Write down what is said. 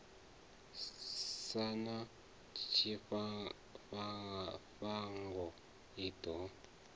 sa na tshifhango i ḓo